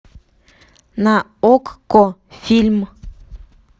на окко фильм